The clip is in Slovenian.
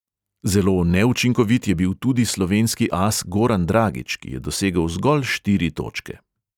Zelo neučinkovit je bil tudi slovenski as goran dragić, ki je dosegel zgolj štiri točke.